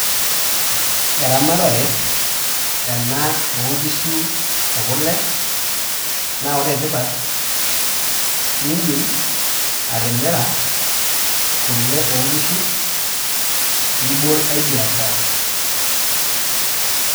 Eramatata ena oonkishu ekule naa wore tipat idim atimira kule oonkishu nibol engai biashara.